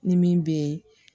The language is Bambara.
Ni min bɛ